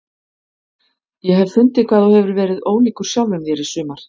Ég hef fundið hvað þú hefur verið ólíkur sjálfum þér í sumar.